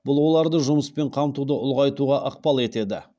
бұл оларды жұмыспен қамтуды ұлғайтуға ықпал етеді